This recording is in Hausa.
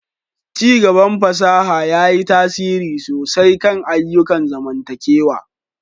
Ci gaban fasaha ya yi tasiri sosai kan ayyukan zamantakewa.